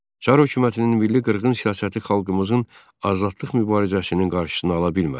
Çar hökumətinin milli qırğın siyasəti xalqımızın azadlıq mübarizəsinin qarşısını ala bilmədi.